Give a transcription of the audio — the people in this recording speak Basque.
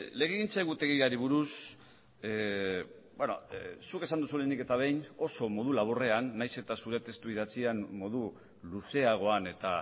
legegintza egutegiari buruz zuk esan duzu lehenik eta behin oso modu laburrean nahiz eta zure testu idatzian modu luzeagoan eta